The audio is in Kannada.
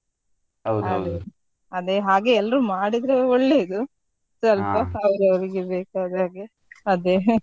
ಅದೇ ಹಾಗೆ ಎಲ್ರು ಮಾಡಿದ್ರೆ ಒಳ್ಳೇದು ಸ್ವಲ್ಪ ಬೇಕಾದಾಗೆ ಅದೇ.